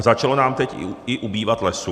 A začalo nám teď i ubývat lesů.